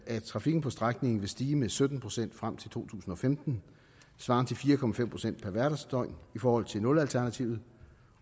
at trafikken på strækningen vil stige med sytten procent frem til to tusind og femten svarende til fire procent per hverdagsdøgn i forhold til nulalternativet